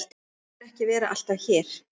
Mig langar ekki að vera alltaf hér.